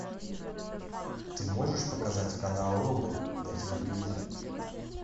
ты можешь показать канал рубль на телевизоре